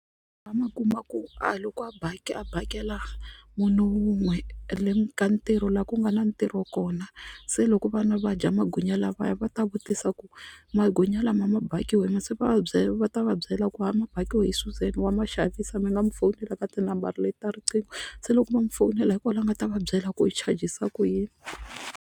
A ma kuma ku a loko a a bekela munhu wun'we ka ka ntirho laha ku nga na ntirho kona se loko vana va dya magwinya lawaya va ta vutisa ku magwinya nyama mabakiwe hi mani se va va va ta va byela ku ha mabakiwe hi Suzan wa ma xavisa mi nga mi fowunela ka tinambara leta riqingho se loko va mu fowunela hikwalaho a nga ta va byela ku i chajisa ku yini.